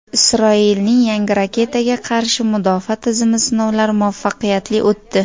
Isroilning yangi raketaga qarshi mudofaa tizimi sinovlari muvaffaqiyatli o‘tdi.